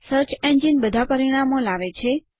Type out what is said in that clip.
search engine બધા પરિણામો લાવે છે